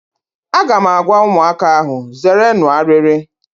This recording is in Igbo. Aga m agwa ụmụaka ahụ, zeerenụ arịrị!